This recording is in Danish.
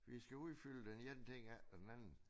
Vi skal udfylde den ene ting efter den anden